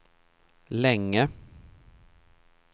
länge